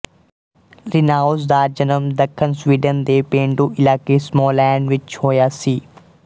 Linnaeus ਦਾ ਜਨਮ ਦੱਖਣ ਸਵੀਡਨ ਦੇ ਪੇਂਡੂ ਇਲਾਕੇ ਸਮਾਲੈਂਡ ਵਿੱਚ ਹੋਇਆ ਸੀ